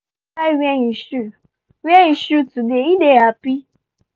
pikin try wear him shoe wear him shoe today he dey happy